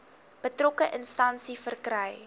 betrokke instansie verkry